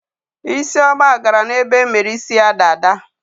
Isioma gara n'ebe emere isi ya dada.